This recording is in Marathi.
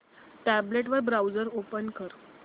टॅब्लेट वर ब्राऊझर ओपन कर